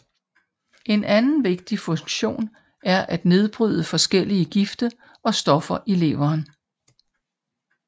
En anden vigtig funktion er at nedbryde forskellige gifte og stoffer i leveren